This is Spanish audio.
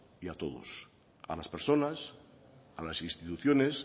y a todos a las personas a las instituciones